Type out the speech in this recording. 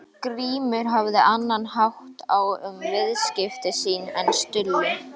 Grímur hafði annan hátt á um viðskipti sín en Stulli.